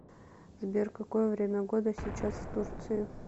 сбер какое время года сейчас в турции